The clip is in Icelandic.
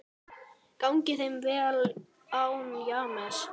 Gangi þeim vel án James.